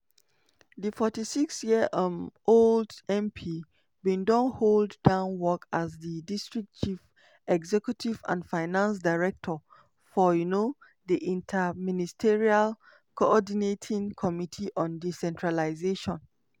di 46 year um old mp bin don hold down work as di district chief executive and finance director for um di inter-ministerial co-ordinating committee on decentralisation.